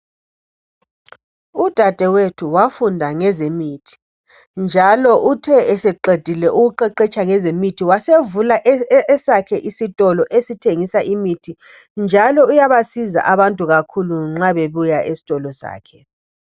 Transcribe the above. Udadewethu wafunda ngezemithi njalo uthe eseqedile ukuqeqetsha ngezemithi wasevula esakhe isitolo esithengisa imithi njalo uyabasiza abantu kakhulu nxa bebuya esitolo sakhe.